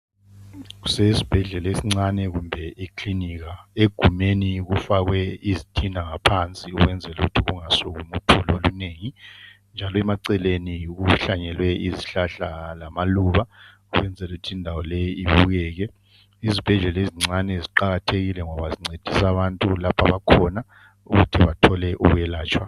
kusesibhedlela esincane kumbe eklinika egumbeni kufakwe izitina ngaphansi ukwenzela ukuba kungasukumi uthuli olunengi njalo eceleni kuhlanyelwe izihlahla lama lubakwenzela ukuba indawo leyi ibukeke izibhedlela ezincane ziqakathekile ngoba zincdisa abantu lapha abakhona ukuba bathole ukwelatshwa